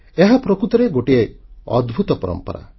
ଏହା ପ୍ରକୃତରେ ଗୋଟିଏ ଅଦ୍ଭୁତ ପରମ୍ପରା